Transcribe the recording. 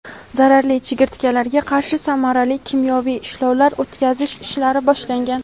zararli chigirtkalarga qarshi samarali kimyoviy ishlovlar o‘tkazish ishlari boshlangan.